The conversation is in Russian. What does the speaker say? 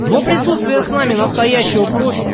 но присутствие с нами настоящего профи